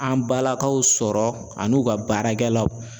An balakaw sɔrɔ ani u ka baarakɛlaw.